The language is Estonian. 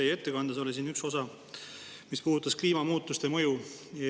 Teie ettekandes oli üks osa, mis puudutas kliimamuutuste mõju.